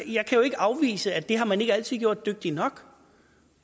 jeg kan jo ikke afvise at det har man ikke altid gjort dygtigt nok